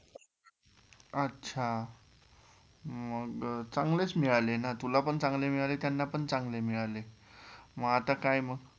अच्छा मग चांगलेच मिळाले ना तुला पण चांगले मिळाले त्यांना पण चांगले मिळाले, मग आता काय मग?